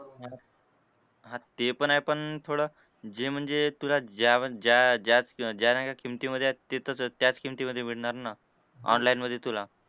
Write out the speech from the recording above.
हां ते पण आहे पण थोडं जे म्हणजे तुला ज्या ज्या ज्या ज्या नाही का किमतीमधे आहे तिथं त्याच किमतीमधे मिळणार ना. Online मधे तुला.